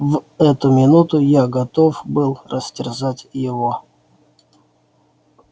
в эту минуту я готов был растерзать его